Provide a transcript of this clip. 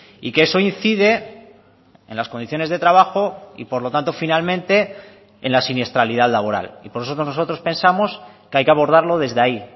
y que eso incide en las condiciones de trabajo y por lo tanto finalmente en la siniestralidad laboral y por eso nosotros pensamos que hay que abordarlo desde ahí